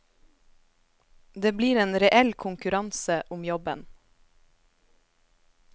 Det blir en reell konkurranse om jobben.